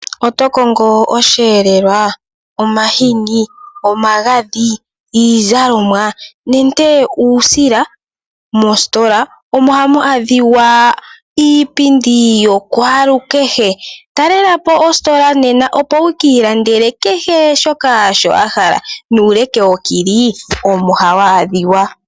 Otokongo osheelelwa, omagadhi, iizalomwa nenge uusila moositola omo hamwaadhika iipindi yakwalukehe talelapo oositola nena opo wukiilandele shoka wahala nena nuuleke wokili omo hawadhika.